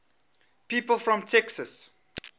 people from texas